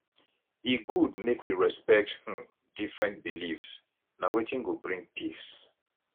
e good make we respect um different beliefs na wetin go bring peace